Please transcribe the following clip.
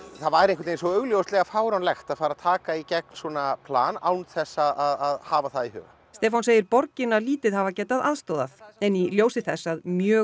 það væri einhvern veginn svo augljóslega fáránlegt að fara að taka í gegn svona plan án þess að hafa það í huga Stefán segir borgina lítið hafa getað aðstoðað en í ljósi þess að mjög